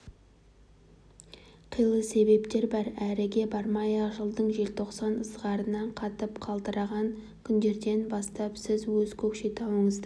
қилы себептер бар әріге бармай-ақ жылдың желтоқсан ызғарынан қатып қалтыраған күндерден бастап сіз өз көкшетауыңызды